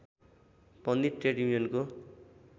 पनि ट्रेड युनियनको